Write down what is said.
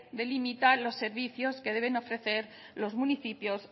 delimitar los servicios que deben ofrecer los municipios